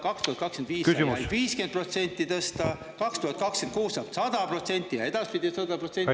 2025 sai ainult 50% tõsta, 2026 saab 100% ja edaspidi 100%.